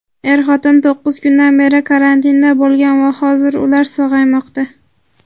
er-xotin to‘qqiz kundan beri karantinda bo‘lgan va hozirda ular sog‘aymoqda.